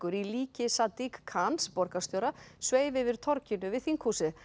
í líki Sadiq Khans borgarstjóra sveif yfir torginu við þinghúsið